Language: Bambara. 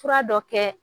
Fura dɔ kɛ